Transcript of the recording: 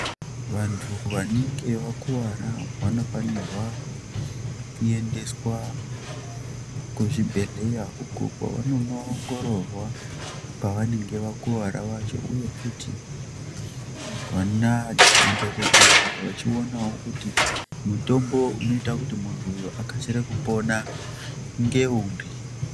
Vantu vanenge vakuwara vano fanirwa ku endeswa ku zvibhedhleya uko kwa vanono ongororwa pa vanenge vakuvara pacho uye futi vona madhokodheya vochi onawo kuti mutombo unoita kuti muntu uyu akasire kupona nge uri.